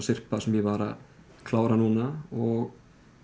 syrpa sem ég var að klára núna og